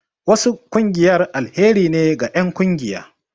Wasu ƙungiyar alheri ne ga enƙungiya